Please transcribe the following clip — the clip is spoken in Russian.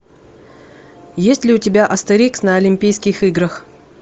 есть ли у тебя астерикс на олимпийских играх